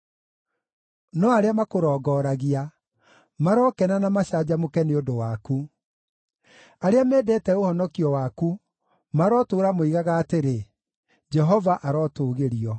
No arĩa makũrongoragia marokena na macanjamũke nĩ ũndũ waku; arĩa mendete ũhonokio waku marotũũra moigaga atĩrĩ, “Jehova arotũgĩrio!”